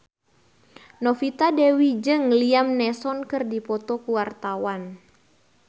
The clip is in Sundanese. Novita Dewi jeung Liam Neeson keur dipoto ku wartawan